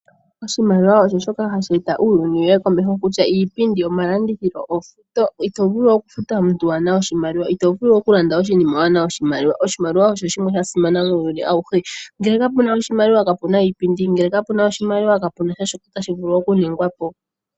Oshimaliwa osho shoka hashi eta uunyuni wuye komeho kutya iipindi, omalandithilo, ofuto ito vulu oku futa omuntu wana oshimaliwa ito vulu oku landa oshinima wana oshimaliwa. Oshimaliwa osho shimwe sha simana muuyuni awuhe ngele kapuna oshimaliwa kapuna iipindi ngele kapuna oshimaliwa kapuna shoka tashi vulu oku ningwapo.